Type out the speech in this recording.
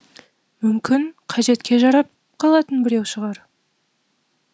мүмкін қажетке жарап қалатын біреу шығар